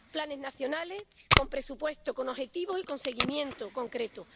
planes nacionales con presupuesto, con objetivos y con seguimiento concreto